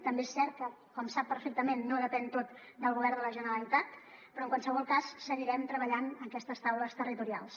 també és cert que com sap perfectament no depèn tot del govern de la generalitat però en qualsevol cas seguirem treballant aquestes taules territorials